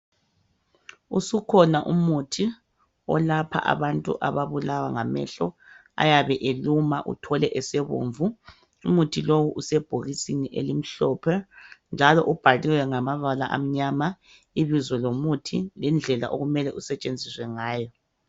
Usukhona umuthi olapha abantu ababulawa ngamehlo ayabe eluma uthole esebomvu umuthi lowu usebhokisini elimhlophe njalo ubhaliwe ngamabala amnyama ibizo lomuthi indlela okumele usetshenziswe ngayo